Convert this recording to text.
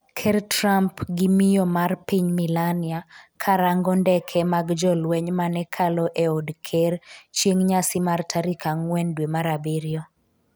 Ker Trump gi miyo mar piny Melania karango ndeke mag jolweny manekalo e od ker chieng' nyasi mar tarik ang'wen dwe mar abiriyo